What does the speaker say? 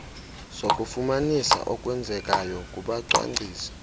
sokufumanisa okwenzekayo kubacwangcisi